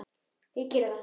Ég geri það.